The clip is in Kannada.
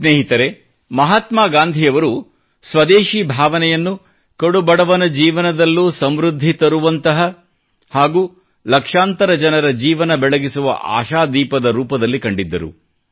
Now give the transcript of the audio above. ಸ್ನೇಹಿತರೇ ಮಹಾತ್ಮಾ ಗಾಂಧಿಯವರು ಸ್ವದೇಶಿ ಭಾವನೆಯನ್ನು ಕಡುಬಡವನ ಜೀವನದಲ್ಲೂ ಸಮೃದ್ಧಿ ತರುವಂತಹ ಹಾಗೂ ಲಕ್ಷಾಂತರ ಜನರ ಜೀವನ ಬೆಳಗಿಸುವ ಆಶಾದೀಪದ ರೂಪದಲ್ಲಿ ಕಂಡಿದ್ದರು